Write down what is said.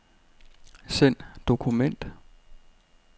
Send dokument.